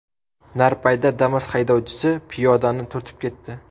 Narpayda Damas haydovchisi piyodani turtib ketdi.